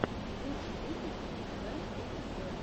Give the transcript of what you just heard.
лучший выпуск биг бен эйти сэвэн